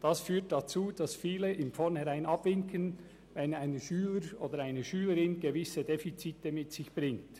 Das führt dazu, dass viele von vornherein abwinken, wenn ein Schüler oder eine Schülerin gewisse Defizite mitbringt.